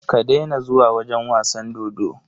Ka daina zuwa wajen wasan dodo.